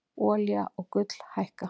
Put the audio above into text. Olía og gull hækka